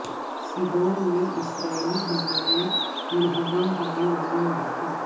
Sidon میں اسرائیلی حملے میں منہدم ہونے والی مسجد